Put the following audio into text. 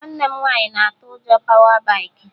Nwanne m nwaanyị na atụ ụjọ pawa baikị